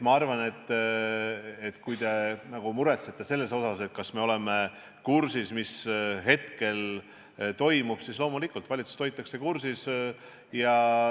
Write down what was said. Kui te muretsete selle pärast, kas me oleme kursis, mis hetkel toimub, siis loomulikult, valitsust hoitakse kursis.